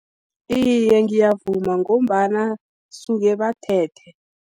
Iye, ngiyavuma ngombana duke bathethe.